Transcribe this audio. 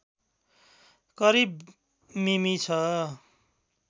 करिब मिमी छ